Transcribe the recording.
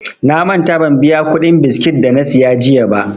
Na manta ban biya kuɗin biskit dana siya jiya ba.